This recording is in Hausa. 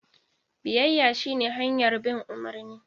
Biyayya shine hanyar bin umarni.